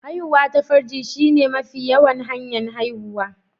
Haihuwa ta farji shine mafi yawan hanya'n haihuwa.